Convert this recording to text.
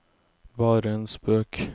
bare en spøk